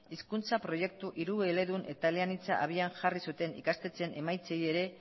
hizkuntza proiektu hirueledun eta eleanitza abian jarri zuten ikastetxeen emaitzei ere